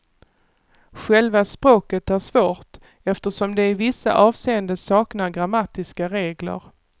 Själva språket är svårt, eftersom det i vissa avseenden saknar grammatiska regler.